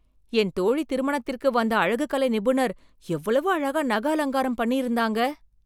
என் தோழி திருமணத்திற்கு வந்த அழகு கலை நிபுணர் எவ்வளவு அழகா நக அலங்காரம் பண்ணி இருந்தாங்க